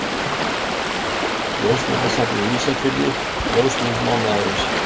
Ljósmyndasafnið Ísafirði Ljósmynd mánaðarins.